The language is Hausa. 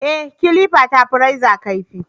Ee, kilifa ta fi reza kaifi